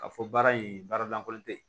Ka fɔ baara in baara lankolon te yen